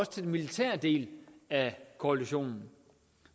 til den militære del af koalitionen